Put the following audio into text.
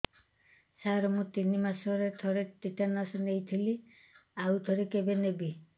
ସାର ମୁଁ ତିନି ମାସରେ ଥରେ ଟିଟାନସ ନେଇଥିଲି ଆଉ ଥରେ କେବେ ନେବି